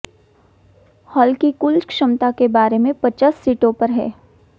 hall की कुल क्षमता के बारे में पचास सीटों पर है